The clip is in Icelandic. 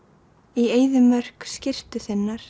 í eyðimörk skyrtu þinn ar